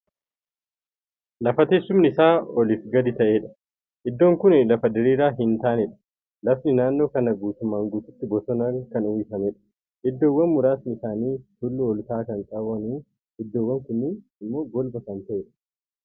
Lafa teessuumni Isaa oliif gadi ta'edha iddoon Kuni lafa diriiraa hin taanedha. lafni naannoo kanaa guutummaan guututti bosonaa Kan uwwifameedha. iddoowwan muraasni isaanii tulluu olka'aa Kan qabunu iddoowwan kunniin immoo golba Kan ta'aniidha.